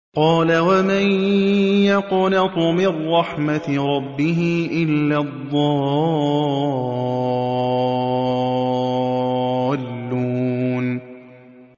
قَالَ وَمَن يَقْنَطُ مِن رَّحْمَةِ رَبِّهِ إِلَّا الضَّالُّونَ